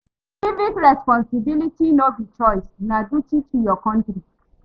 Civic responsibility no be choice, na duti to yur kontri